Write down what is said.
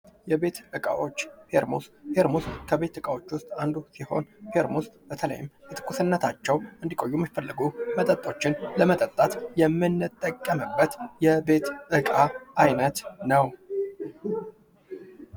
የቤት ዕቃዎች ፌርሙስ ፡-ፌርሙስድረስ ከቤቱ ዕቃዎች ውስጥ አንዱ ሲሆን ፌርሙስ በተለይ በትኩስነታቸው እንዲቆዩ ሚፈለጉ መጠጦችን ለመጠጣት የምንጠቀምበት እቃ አይነት ነው።